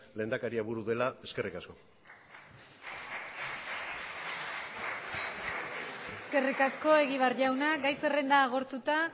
lehendakaria buru dela eskerrik asko eskerrik asko egibar jauna gai zerrenda agortuta